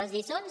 les lliçons